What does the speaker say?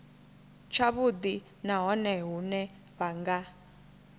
tshavhudi nahone hune vha nga